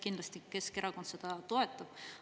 Kindlasti Keskerakond seda toetab.